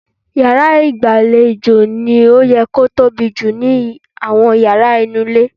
Yàrá ìgbàlejò ló yẹ kó tóbi jù nínú àwọn yàrá nínú ilé.